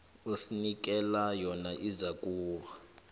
osinikela yona izakuba